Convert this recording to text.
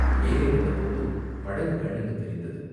மேலே வந்தபோது படகு கண்ணுக்குத் தெரிந்தது.